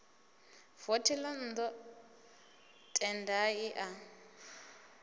vothi ḽa nnḓu tendai a